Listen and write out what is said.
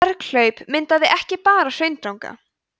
berghlaup myndaði ekki bara hraundranga